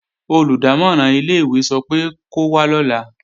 Olùdámọ̀ràn ilé-ìwé sọ pé kó wá lọ́la